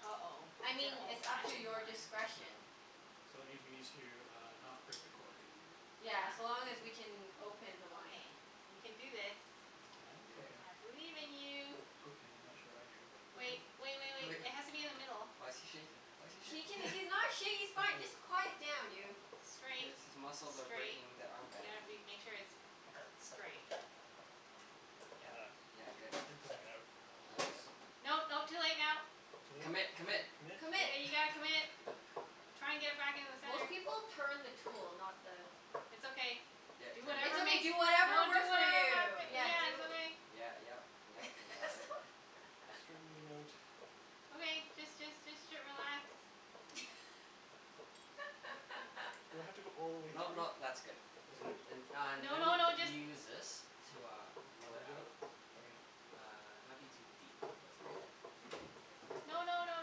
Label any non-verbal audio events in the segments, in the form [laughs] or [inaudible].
uh-oh. I It's an mean, old it's up to fashioned your one. No. discretion. So it means we need to uh, not break the cork. Yeah. Yeah, so long as we can open the wine. Okay. You can do this. I can? You can do it. Okay. I believe in you. Okay. I'm not sure I do, but okay. Wait, wait wait wait. It has to be in the middle. [laughs] Why's he shaking? Why's he He can, shaking? he's not [laughs] sha- he's Let's fine, do this. just quiet down, you. Straight. His his muscles are Straight. breaking the arm You band. gotta be, make sure it's straight. Yeah. Ah, Yeah, good. and going Oh, outwards. is it? No, no. Too late now. Too late? Commit! Commit! Commit? Commit? Commit. Yeah, [laughs] you gotta commit. [laughs] Try and get it back in the Most center. people turn the tool, not the It's okay. Yeah, it Do turns. It's whatever okay, makes do you, whatever don't do, it works for won't you. happen. Turn the Yeah, cork. Yeah, do it's okay. Yeah, yep, yep, you got it. [laughs] Straightening it out. Okay, just just just t- relax. [laughs] Do I have to go all [laughs] the way No through? no, that's good. That's And good? and uh No no then no, you just use this to uh, pull it Leverage out? out. Okay. Uh, it might be too deep, but it's okay. No no no,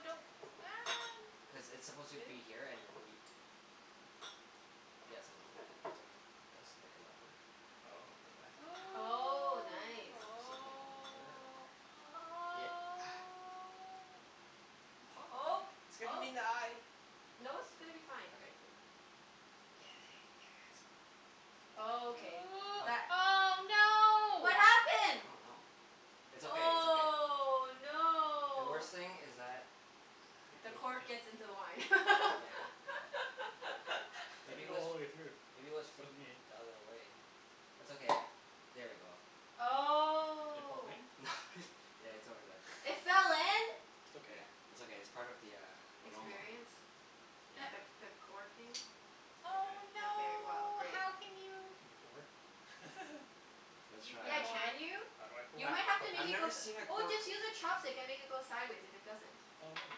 don't. Ah, Cuz n- it's supposed to Really? be here and then you uh, yeah, something like that. Okay. This. Like a level. Oh. Like that. Oh. Oh, And nice. then same thing over here. Oh. Oh. Yeah. [noise] Oh, Pop. It's gonna hit him oh. in the eye. No, it's gonna be fine. Okay, cool. [inaudible] Oh, okay Ooh. What that [noise] Oh, What no! I happened? don't know. It's okay. It's okay. Oh, The no! worst thing is that [noise] It The goes cork in. gets into the wine. [laughs] Yeah, how did that I Maybe didn't it go was, all the way through. maybe it was This flipped wasn't the me. other way? It's okay, I'll, there we go. It fall Oh. in? [laughs] Yeah, it's over there. It [laughs] fell in? It's okay. Yeah. It's okay. It's part of the uh, aroma. Experience? Experience. The Yeah. [laughs] Sure. the corking? Okay. Oh, Okay, well no! great. How can you Can you pour? [laughs] Let's You can Yeah, try. pour. can you? You I might have to make I've it go never s- seen a oh, cork just use a chopstick and make it go sideways if it doesn't. Oh maybe,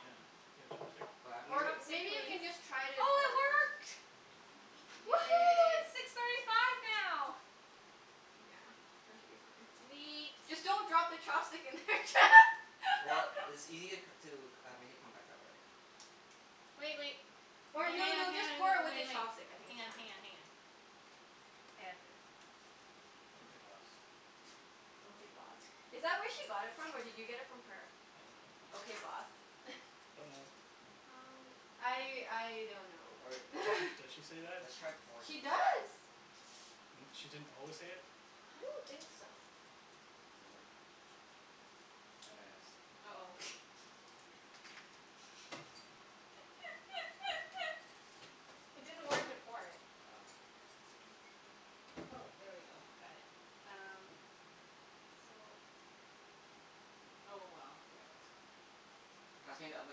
yeah. You got a chopstick? But I've never Or, s- Say maybe you please. can just try to Oh, pour it it first. work! [inaudible] Woohoo, Yay! it's six thirty five now! Yeah, that should be fine. Sweet. Just don't drop the chopstick in there. Well, it's [laughs] ea- to c- uh, make it come back out, right? Wait wait. Or Hang no hang on, no, just hang pour on it and with the wait wait. chopstick. I think Hang it's on, fine. hang on, hang on. I got this. Okay [noise] [noise] boss. Okay, boss. [noise] Is that where she got it from or did you get it from her? I dunno. Okay, No. boss? [laughs] Don't know. Oh. I I don't know Or or Does she does [laughs] she say that? let's try pouring it She first. does. N- she didn't always say it? I don't think so. Does it work? At a s- uh-oh. [laughs] [laughs] It didn't work to pour it. Oh. Oh, there we go. Got it. Yeah. Um, so Oh well. Yeah, that's gonna Pass me the other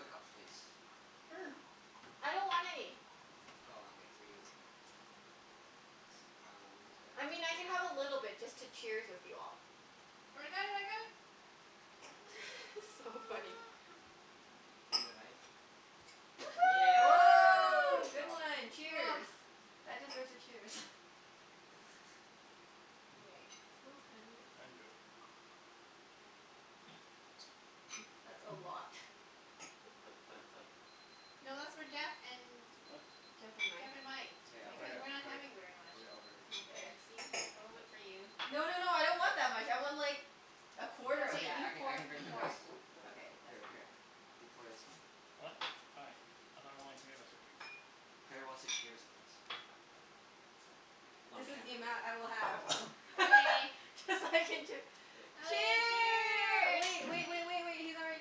cups, please. [noise] I don't want any. Oh, okay. Three is good. Thanks. That one is good? I mean, I can have a little bit just to cheers with you all. I got it, I got it. [laughs] So funny. [noise] Need a knife? Woohoo! Oh, Good good job. one! Cheers! [noise] That deserves a cheers. [noise] Okay. Smells kinda I nice. didn't do it. Hmm, that's a lot. [laughs] No, that's for Jeff and What? Jeff and Mike. Jeff and Mike. K, I'll put Because it, No. we're Okay. not put it, having very much. put it over here. There, Okay. see? A little bit for you. No no no, I don't want that much. I want like a quarter It's of Okay, okay. you I that. can I pour it. can You drink the pour it. rest. [noise] Okay, that's Here for you. here, you pour this one. What? Hi. I thought only three of us were drinking. Claire wants to cheers with us. Oh. On This is cam- the amount I will have. [noise] Okay. [laughs] Cuz I can chee- Yay. Okay, Cheer, wait cheers! wait [noise] wait [inaudible] wait wait, he's not ready.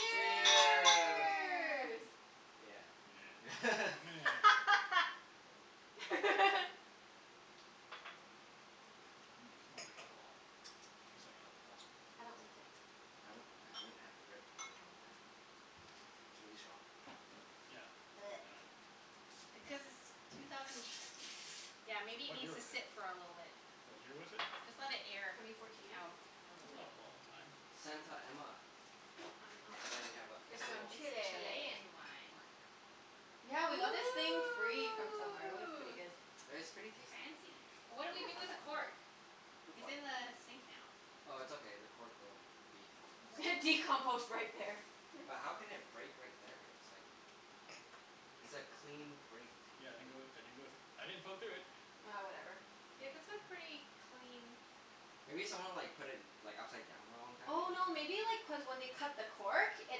Cheers. Yeah. Yeah. [laughs] Meh. [laughs] [laughs] [noise] Mmm, smells like alcohol. [noise] Tastes like alcohol. I don't like it. I haven't, I haven't had red wine in a long time. It's really strong. Yeah, I [noise] dunno. Because it's two thousand Yeah, maybe it What year needs to was it? sit for a little bit. What year was it? Just let it air Twenty fourteen, I out. think? A Is little That's it? bit. not a long time. Santa Emma. I dunno. And then we have a It's from little It's Chile. Chilean wine. [inaudible] Yeah, we got this thing free from somewhere. It was pretty Ooh! good. It's pretty tasty. Fancy. What do Yeah, we it's do not with the bad. cork? Okay. Fruit It's fly. in the sink now. Oh, it's okay. The cork will be composted. [laughs] What Decompost right there. But how can it break right there? It's like It's a clean break, too. Yeah, I didn't go I didn't go thr- I didn't poke through it. Ah, whatever. Yeah, Yeah. this a pretty clean Maybe someone like put it like upside down for a long time? Oh, no [inaudible] maybe like cuz when they cut the cork it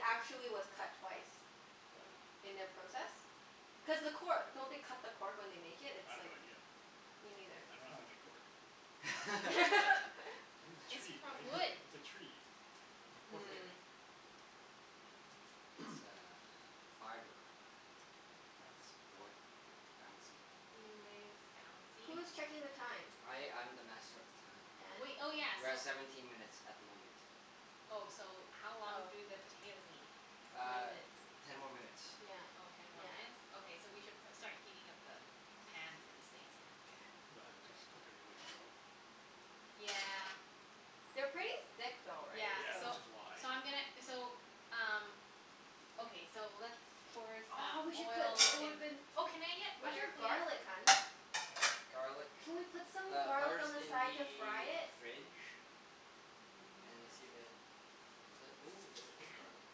actually was cut twice. What? Oh. In their process. Cuz the cor- don't they cut the cork when they make it? I It's have no like idea. Me neither. I dunno how they make cork. [laughs] It's in a It's tree, from right? wood. [laughs] It's a tree. It's a Is cork tree. it? Hmm. It's [noise] uh fiber. That's boy- like, bouncy. Anyways. Bouncy? Who's [noise] checking the time? I I'm the master of the time. Wait, And? oh yeah, We're so at seventeen minutes at the moment. Oh, so how long Oh. do the potatoes need? Twenty Uh, minutes. ten more minutes. Yeah. Oh, ten more Yeah. minutes? Okay, so we should pro- start heating up the pan for the steaks, then. K. [inaudible] just cook it really slow. Yeah. They're pretty thick though, right? Yeah, Yeah, So so which is why. so I'm gonna, so um Okay, so let's pour Oh, we some should put oil l- it in woulda been Oh, can I get Where's butter your please? garlic, hun? Garlic, Can we put some the garlic on butter's the in side to fry the it? fridge. Mm, And it's see too if it, [noise] ooh, We there is can. garlic.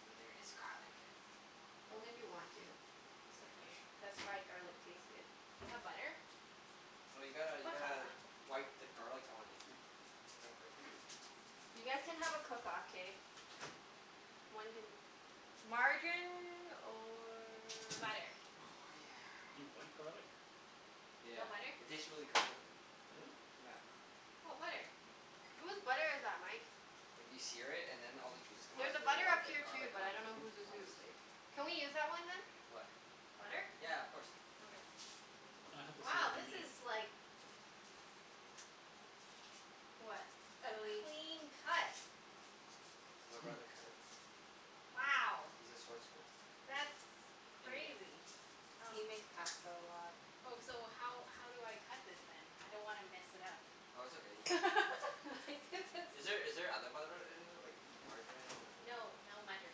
Wait, there is garlic. Only if you want to. Is Just it a few. fresh? Cuz fried garlic tastes good. Do you have butter? No, you gotta you gotta Buttah. wipe the garlic on it. Gotta break in. You guys can have a cook off, k? One can, margarine or Butter. Oh yeah. You wipe garlic? Yeah. No butter? It tastes really good with it. Really? Yeah. Oh, butter. Whose butter is that, Mike? Like, you sear it and then all the juices come out, There's a and then you butter wipe up the here too, garlic but I on don't know whose is on the whose. steak. Can we use that one, hun? What? Butter? Yeah, of course. Okay. I have to see what Wow, you this mean. is like What? a Really clean cut. My brother [noise] cut it. Wow. He's a sword smith. That's In game. crazy. Um He makes pasta a lot. Oh, so how how do I cut this then? I don't wanna mess it up. Oh, it's okay. You can [laughs] [laughs] Like, this Is there is is there other butter in there, like margarine or No, no mutter.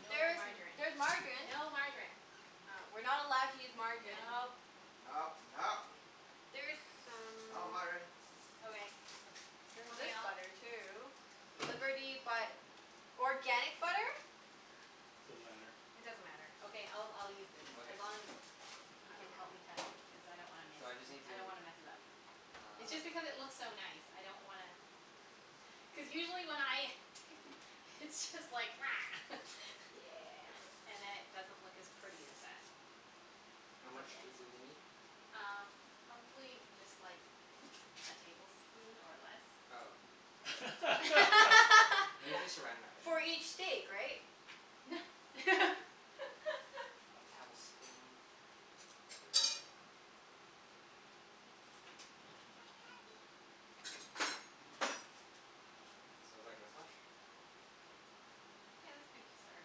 No There is m- margarine. there's margarine. No margarine. Oh. We're not allowed to use margarine. Nope. No, no! There's Not some margarine. Okay. There's Okay, this I'll butter too. Liberty but organic butter? Doesn't matter. It doesn't matter. Okay, I'll I'll use this. Okay, As long sounds as good. you I can don't know. help me cut it. Because I don't wanna miss So I just n- need I don't to wanna mess it up. It's just Uh. because it looks so nice. I don't wanna [laughs] Cuz usually when I t- it's just like [noise] [laughs] Yeah. Uh. And then it doesn't look as pretty as that. How That's much okay. do do we need? Um, probably just like a tablespoon, or less. Oh, yeah, that's okay. [laughs] We need to [laughs] Saran Wrap it For anyway. each steak, right? [laughs] [laughs] A tablespoon. Sure. So it's like this much? Yeah, that's good to start.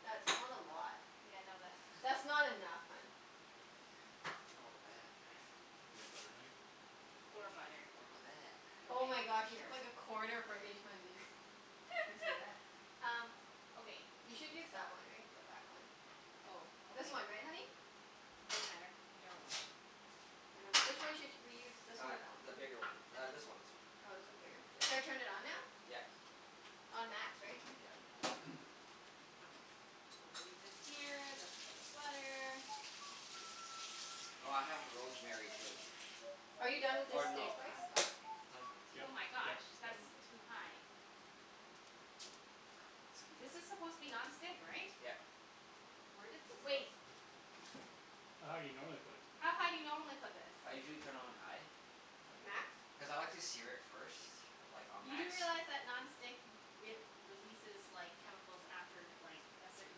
That's not a lot. Yeah, no That's that's not not [laughs] enough, hun. Oh, but that [noise] You have butter knife? You could use Poor butter knife. butter. What about that? Oh my gosh, Okay, you sure. took like a corner from each one, dude. Do you see that? [laughs] Um, okay You th- should [noise] use that one, right? The back one. Oh, okay. This one, right honey? It doesn't matter. Whichever one. I dunno. Which one should sh- we use? This one Uh, or that one? the bigger one. Uh, this one, this one. Oh, this one's bigger? Yeah, Should yeah. I turn it on now? Yeah. On max, right? Yeah. [noise] Okay. We'll leave this here. That's for the butter. Oh, I have rosemary too. Are you done with this Or steak no, I have spice? uh, starts with [noise] a t. Oh Yep my gosh, yep yep. that's Mkay. too high. Okay. This Scuse. is supposed to be non-stick, right? Yep. Where did this of- Wait. How high you normally put it? How high do you normally put this? I usually turn it on high Oh. Max? cuz I like to sear it first. Like on You do max. realize that non-stick w- we- releases like, chemicals after like, a certain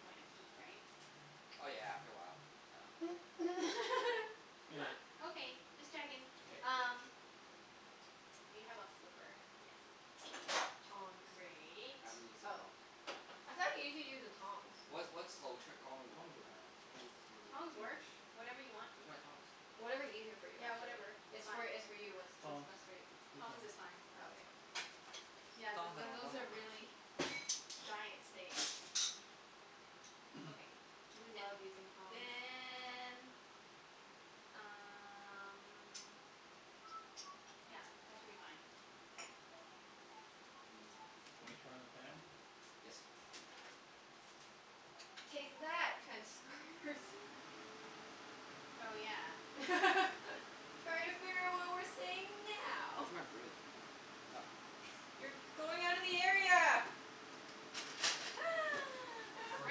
point of heat, right? Oh yeah, after a while. Oh, okay. Meh. [laughs] Okay, just checking. K. Um Do you have a flipper? Yes. Tongs. Great. I haven't used it in a Oh, long time. I thought usually you use the tongs? What's what's [inaudible] in uh Tongs work. En- in Tongs work. English? Whatever you want. Where's my tongs? Whatever's easier for you, Yeah, actually. whatever. It's It's fine. for, it's for you. It's what's Tongs. best for you. Use Tongs tongs. is fine. Oh, okay. Yeah, Tong th- to- th- tong those tong are tong. really giant steak. [noise] [noise] Okay. We And love using tongs. then um [noise] Yeah, that should be fine. Mmm. [noise] Wanna turn on the fan? Yes. Take that, [noise] transcribers. Oh yeah. [laughs] Try to figure out what we're saying now. Where's my broom? Oh. You're going outta the area! [noise] For a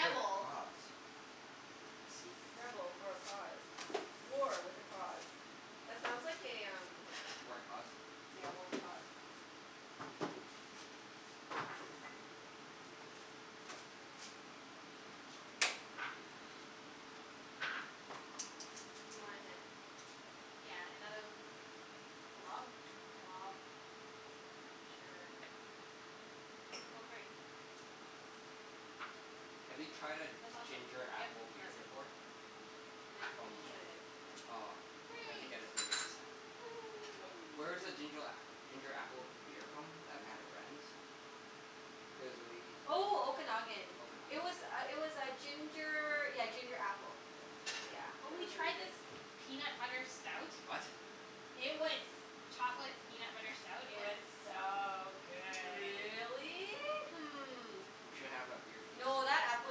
good cause. I see. Rebel for a cause. War with a cause. That sounds like a um War and cause? Yeah, war and cause. You want a hand? Yeah, another Glub? glob. Sure. Oh, great. Have you tried a That's awesome. ginger Yep. apple No, beer that's good. before? And then you From, can just No. put it in. aw, we have to Great. get it for you next time. Wh- Woohoo. where's the ginger a- ginger apple beer from, that we had at Brandi's? It was really Oh, Okanagan. It Okanagan? was uh it was uh ginger, yeah ginger apple. Yeah. Really Yeah, good. Oh, it we was really tried Hmm. this good. peanut butter stout. What? It was chocolate peanut butter stout. It was Yeah. so good. Really? Hmm. We should have a beer tasting. No, that apple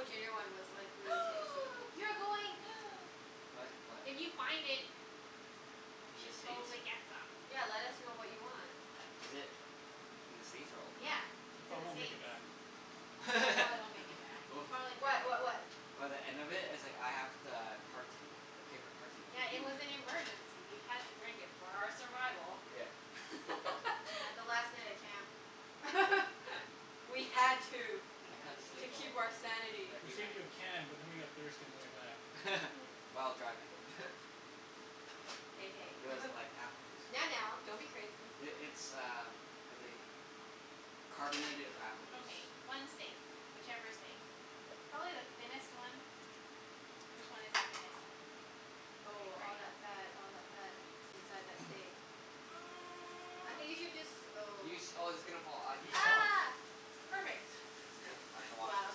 ginger one was like, really tasty. [noise] You're going [noise] What? What? If you find it we In the should States? totally get some. Yeah, let us know what you want. Is it in the States or Yeah, Okanagan? It it's in the probably won't make States. it back. Yeah, it probably won't make it back. You'll Oh. [laughs] probably drink What? it. What what? By the end of it, it's like I have [noise] the carton. The paper carton for Yeah, it you. was [noise] an emergency. We had to drink it for our survival. Yeah. Yeah, the [laughs] last night at camp. [laughs] We had to. We I had couldn't To sleep to. for, keep our sanity. We every saved night. you a can but then we got thirsty on the way back. [laughs] While driving. [laughs] [laughs] [laughs] Hey, It was hey. like [laughs] apple juice. Now, now, don't be crazy. I- it's uh what they, carbonated apple juice. Okay, one steak. Whichever steak. Probably the thinnest one. Which one is the thinnest one? Okay, Oh, great. all that fat, all that fat K. inside that steak. [noise] I think [noise] you should jus- oh. You sh- oh, it's gonna fall. Uh, you Use the tongs. sh- Ah! Perfect. Okay. I shall [laughs] wash Wow. this.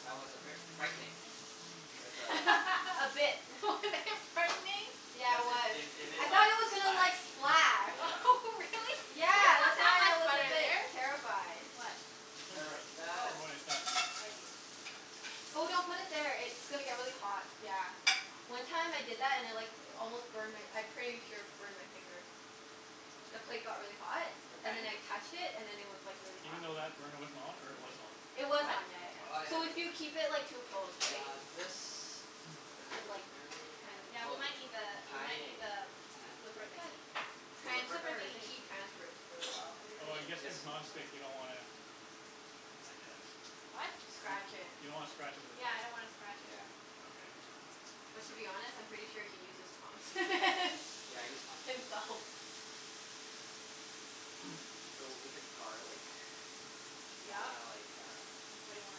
That was a bit frightening. With a [laughs] A [laughs] bit. [laughs] Was [noise] it frightening? Yeah, Cuz it it was. it it [noise] I it like thought it was gonna splash like, splash. Yeah. [laughs] Really? Yeah, that's why I was a bit [noise] [inaudible] terrified. What? It's clean plate. Terrified. Oh, For when it's done. I see. Oh, don't put it there. It's gonna get really hot. Yeah. One time I did that and I like almost burned my, I pretty sure burned my finger. The plate got really hot Your and then fan I did. touched it, and then it was like really hot. Even though that burner wasn't on, or it was on? It was What? on, yeah yeah Oh, Oh yeah. yeah, So I okay. if you know. keep it like too close, And right? uh this. [noise] Is it But like rosemary that tran- I, Yeah, we oh, might need the, we might thyme. need the flipper I thought thingie. Thyme [inaudible] The The ripper? flipper transfers. The thingie. heat transfers really well. Is it Oh, clean? I guess Yes. cuz Okay. non-stick you don't wanna I guess. What? You d- Scratch it. you don't wanna scratch it with the Yeah, I tongs. don't wanna scratch it. Yeah. Okay. But to be honest, I'm pretty sure he uses prongs. [laughs] Yeah, I use tongs. Himself. [noise] So w- with the garlic you Yeah? wanna like, uh What do you want?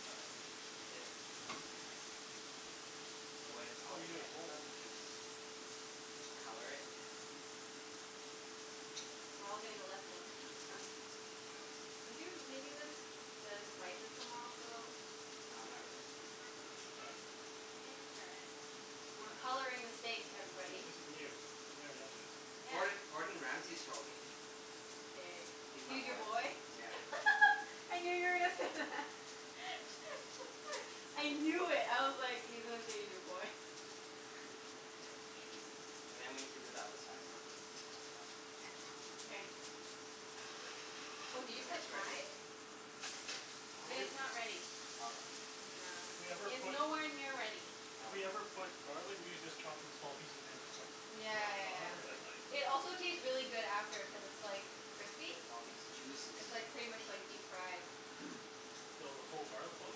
Garlic. Is it So when it's Oh, all you do wet it and whole. stuff you just color it. We're all getting a lesson. [laughs] Are you making the s- the spices come off a little? No, not really. Mkay. Interesting. We're coloring the steak, Yeah, everybody. this is new. We've never done this. Yeah. Gord- Gordon Ramsey showed me. K. He's my He's your boy. boy? Yeah. [laughs] I knew you were gonna say that. [laughs] I knew it. I was like, he's gonna say he's your boy. There. Should be good. And then we have to do the other side quickly, as well. Mkay. [inaudible] Oh, did you put thyme? [inaudible] It If is w- not ready. Okay. Yeah. If we ever It is put nowhere near ready. If we ever Okay. put garlic, we usually just chop it in small pieces and then just like Yeah rub it yeah Oh on, yeah. but really? like It also taste really good after cuz it's like crispy. Look at all these juices. It's like pretty much like deep fried. [noise] So, the whole garlic clove?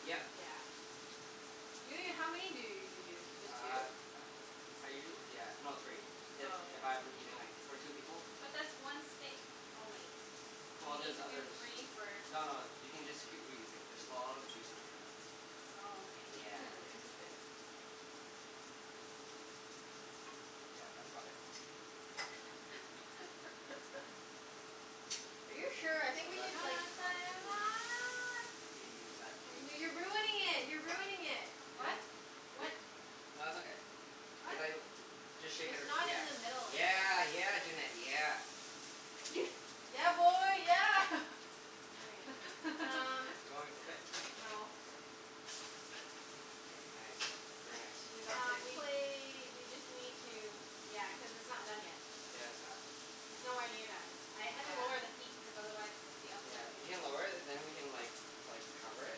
Yeah. Yeah. Yeah. Ju- how many do you usually use? Uh Just two? uh, I usuall- yeah, no, three. If Oh, okay. if I'm eating like, for two people. But that's one steak only. You Well need there's to do others. three for No no, you can just keep reusing. There's a lot of juice in here. Oh, okay. Yeah. Hmm, interesting. Yeah, that's about it. [laughs] [noise] Are you So sure? I think we No let's should no, do like it's not side two. [noise] I could use that piece. N- no you're ruining it! You're ruining it! Really? What? What [laughs] Wh- nah, it's okay. Cuz What? I l- just shake it It's ar- not in the middle yeah, anymore. yeah. Yeah, Junette, yeah. [noise] Yeah, boy, yeah! [laughs] Okay, um Do you want me to flip it? No. K. K, nice. Very nice. We got Um, the we plate. we just need to, yeah, cuz it's not done yet. Yeah, it's not. It's nowhere near done. I had to lower the Yeah. heat cuz otherwise the Yeah. outside was You gonna can get lower it and then we can like like cover it.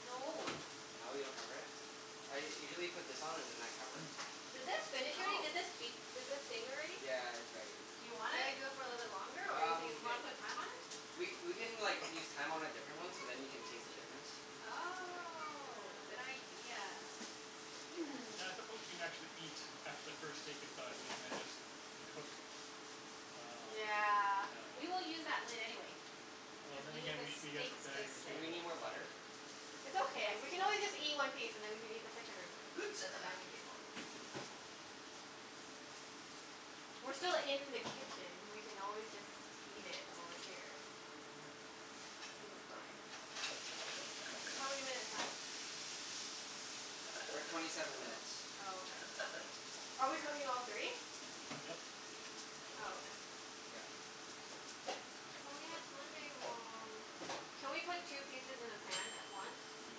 No. No, you don't cover it? I usually put this on and then I cover it. [noise] Did this finish already? Oh. Did this beep? Did this ding already? [noise] Yeah, it's ready. Do you want Should I it? do it for a little longer or you Um, think Do it's you wanna good? put thyme on it? we we can like, use thyme on a different one so then you can taste the difference. Yeah. Oh, good Mm. idea. Yeah, I [noise] suppose we can actually eat after the first steak is done, and then just cook I dunno. Yeah. I We will dunno. use that lid anyway Oh, cuz then we need again the we should be at the steaks to dining room sit. Do we table, need more so butter? It's Yes, okay. We we can will. always just eat [inaudible] one piece and then we can eat the second room a- piece at the [noise] dining table. We're still in the kitchen. We can always just eat it while we're here. Mm. Think it's fine. How many minutes, hun? We're at twenty seven minutes. Oh, okay. Are we cooking all three? Yep. Might as Oh, well. okay. Yep. Oh yeah, it's Monday tomorrow. Can we put two pieces in the pan at once? N-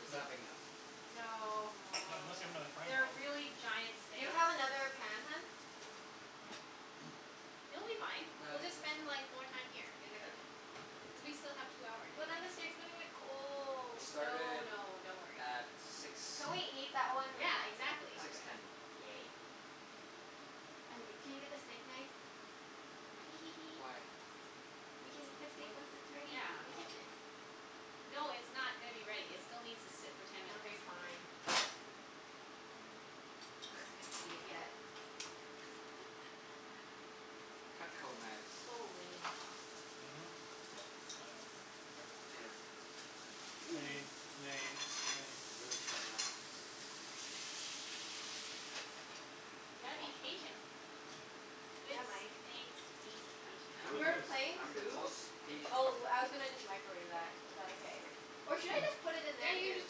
it's not Nope. big enough. No. Not unless you have another Aw. frying pan? They're really giant Do you steaks. have another pan, hun? [noise] It'll be fine. No, We'll it's it's just okay. spend like, more time here in the Yeah. kitchen. Cuz Okay. we still have two hours, But then the anyway. steak's gonna get We cold. No started no, don't worry. at six, Can we [noise] eat that one Yeah, right after? exactly. six Okay, ten. yay. I'm g- can you get the steak knife? Hee hee hee. Why? We can Cuz eat the w- stake once wh- it's ready w- in the yeah. Oh. kitchen. No, it's not gonna be ready. It still needs to sit for ten minutes. Okay, fine. One. We don't get to [laughs] eat it yet. [laughs] Cutco knives. So lame. Mhm. Yep. I know. Everything's Here. lame. Lame. [noise] Lame. These Lame. are really sharp knives. I'm You gotta gonna be wash mine. patient. Good Yeah, Mike. steaks need What [laughs] I'm is We the, were this? patience. playing I'm the Coup. most patient. Oh, I was gonna just microwave that. Is that okay? Or should I just [noise] put it in Yeah, there, you can too? just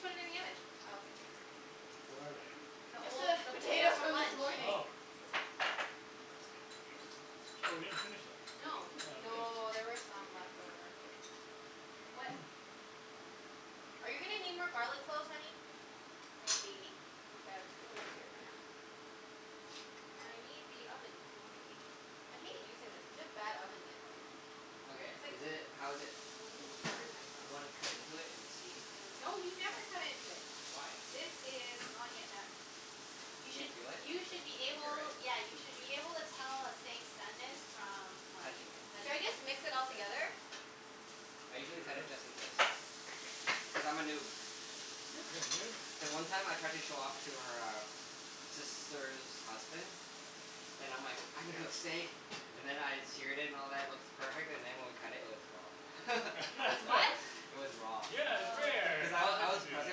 put it in the oven. Oh, okay. Here. What are they? The Just old, the the potatoes potatoes from from this lunch. morning. Oh. Oh, we didn't finish them. No. Oh, okay. No, there were some left over. What [noise] Are you gonna need more garlic cloves, honey? Maybe. Okay, I'll just put them right here for now. [noise] I need the oven thingie. I hate using this. It's such a bad oven mitt, like Okay, It's like, is feel it, how like is it? I'm Do gonna w- burn wanna cut myself. into it and see? Yeah. No, you never [inaudible] cut into it. Why? This is not yet done. You You can should, feel it? you should be Like, [inaudible] right? able, yeah, you should be able to tell a steak's doneness from like, Touching it. Should I touching it. just mix it all K. together? I usually cut it Sure. just in case. Cuz I'm a noob. You're a noob? Then one time I tried to show off to her um sister's husband and I'm like, "I can cook [inaudible] steak." And then I seared it and all that, it looks perfect. And then when we cut it, it was raw. [laughs] It was what? [laughs] It was raw. Yeah, it's Oh. rare! Cuz I I w- was meant I to was do that. pressing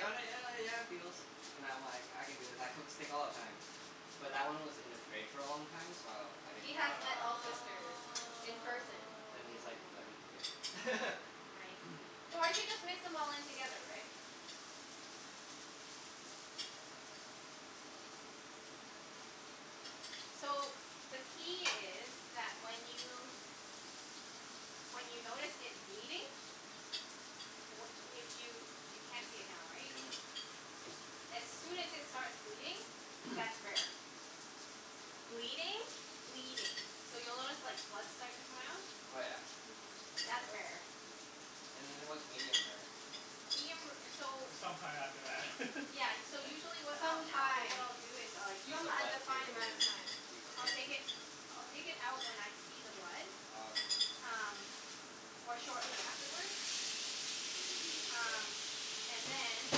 on it, and yeah, yeah it feels. And I'm like, I can do this. I cook steak all the time. But that one was in the fridge for a long time, so I didn't He think has met Ah. all of that. sisters in person. Then he's like, "Let me do Oh. it." [laughs] I [noise] So I should see. just mix them all in together, right? Hmm. So, the key is that when you, when you notice it bleeding wh- if you, you can't see it now, right? Mhm. As soon as it starts bleeding, that's [noise] rare. Bleeding? Bleeding. So, you'll notice like, blood start to come out. Oh yeah? Mm. I didn't know That's that. rare. And then what's medium rare? Medium ra- so It's some time after that. [laughs] Yeah, y- so Mkay. usually what I'll, Some what I, what time. I'll do is like Use Some the blood undefined to amount of time. recook I'll take it? it, I'll take it out when I see the blood. Oh, okay. Um, or shortly afterward. Ooh, yeah. Um, and then